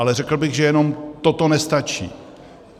Ale řekl bych, že jenom toto nestačí.